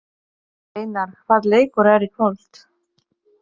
Reynar, hvaða leikir eru í kvöld?